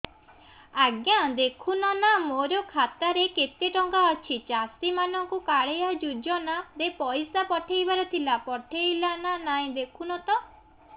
ଆଜ୍ଞା ଦେଖୁନ ନା ମୋର ଖାତାରେ କେତେ ଟଙ୍କା ଅଛି ଚାଷୀ ମାନଙ୍କୁ କାଳିଆ ଯୁଜୁନା ରେ ପଇସା ପଠେଇବାର ଥିଲା ପଠେଇଲା ନା ନାଇଁ ଦେଖୁନ ତ